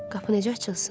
Qapı necə açılsın?